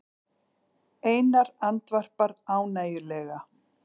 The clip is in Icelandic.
Einar andvarpar ánægjulega.